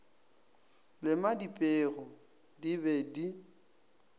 lema dipeu di be di